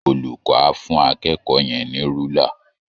Olùkọ́ á fú akẹ́kọ̀ọ́ yẹn ní rúlà